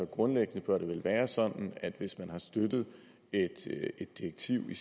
grundlæggende bør det vel være sådan at hvis man har støttet et direktiv i